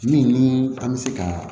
Min ni an bɛ se ka